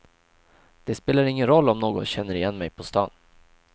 Det spelar ingen roll om någon känner igen mig på stan.